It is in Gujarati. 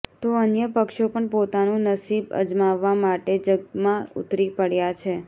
તો અન્ય પક્ષો પણ પોતાનું નસીબ અજમાવવા માટે જંગમાં ઉતરી પડ્યા છે